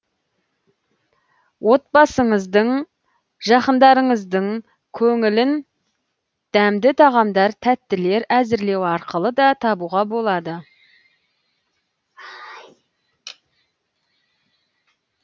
отбасыңыздың жақындарыңыздың көңілін дәмді тағамдар тәттілер әзірлеу арқылы да табуға болады